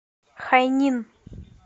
хайнин